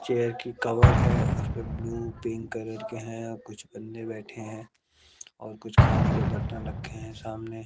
chair की cover है उसपे ब्लू पिंक कलर के है और कुछ बंदे बैठे हैं और कुछ खाने के बर्तन रखें है सामने--